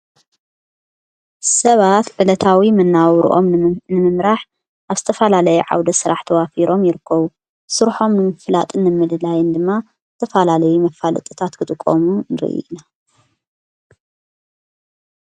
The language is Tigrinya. ሰባት ብለታዊ ምናው ርኦም ንምምራሕ ኣብ ስተፋላለይ ዓውደ ሥራሕ ተዋፊሮም ይርከዉ ሡርሖም ንምፍላጥ ንምልላይን ድማ ተፋላለይ መፋል ጥታት ክጥቖሙ ረይኣዩ።